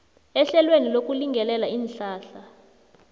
ehlelweni lokulingelela iinhlahla